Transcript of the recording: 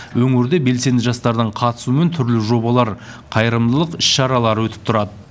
өңірде белсенді жастардың қатысуымен түрлі жобалар қайырымдылық іс шаралары өтіп тұрады